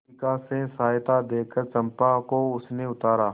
शिविका से सहायता देकर चंपा को उसने उतारा